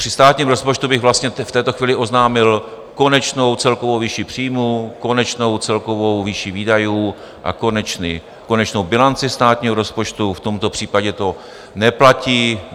Při státním rozpočtu bych vlastně v této chvíli oznámil konečnou celkovou výši příjmů, konečnou celkovou výši výdajů a konečnou bilanci státního rozpočtu, v tomto případě to neplatí.